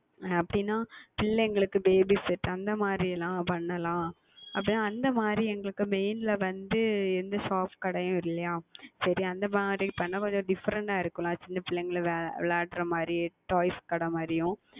அப்படி என்றால் குழந்தைகளுக்கு Baby Set அந்த மாதிரி எல்லாம் செய்யலாம் அப்படி என்று அந்த மாதிரி எங்களுக்கு Main ல வந்து எந்த Soft கடையும் இல்லையா சரி அந்த மாதிரி செய்தால் கொஞ்சம் Diffrent ஆகா இருக்கும் அல்லவா சிறிய குழந்தைகள் விளையாடவது மாதிரி Toys கடை மாதிரியும்